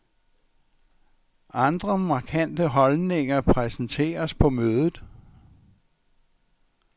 Andre markante holdninger præsenteres på mødet.